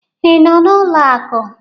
Ị nọ n'ụlọ akụ?